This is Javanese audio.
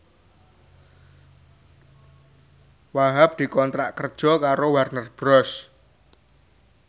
Wahhab dikontrak kerja karo Warner Bros